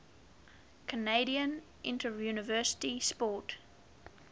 canadian interuniversity sport